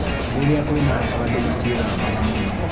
Rĩrĩa kwĩna heho andũ matiĩthambaga mũno